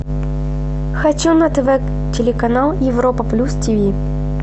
хочу на тв телеканал европа плюс тиви